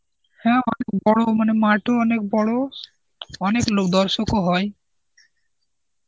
হ্যাঁ অনেক বড় মানে মাঠও অনেক বড়, অনেক লোক দর্শকও হয়.